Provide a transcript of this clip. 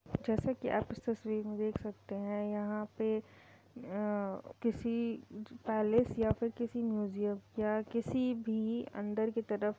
जैसे की आप इस तस्वीर में देख सकते हैं यहाँ पे अ किसी पैलेस या फिर किसी म्यूज़ियम या किसी भी अंदर की तरफ --